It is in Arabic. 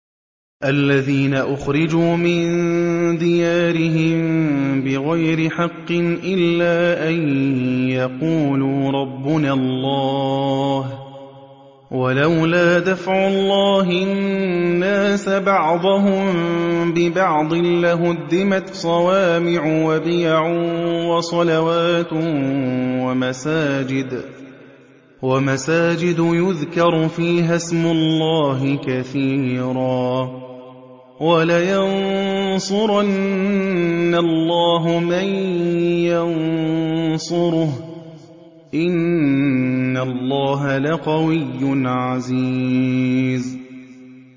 الَّذِينَ أُخْرِجُوا مِن دِيَارِهِم بِغَيْرِ حَقٍّ إِلَّا أَن يَقُولُوا رَبُّنَا اللَّهُ ۗ وَلَوْلَا دَفْعُ اللَّهِ النَّاسَ بَعْضَهُم بِبَعْضٍ لَّهُدِّمَتْ صَوَامِعُ وَبِيَعٌ وَصَلَوَاتٌ وَمَسَاجِدُ يُذْكَرُ فِيهَا اسْمُ اللَّهِ كَثِيرًا ۗ وَلَيَنصُرَنَّ اللَّهُ مَن يَنصُرُهُ ۗ إِنَّ اللَّهَ لَقَوِيٌّ عَزِيزٌ